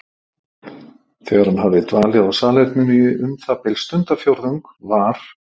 Þegar hann hafði dvalið á salerninu í um það bil stundarfjórðung var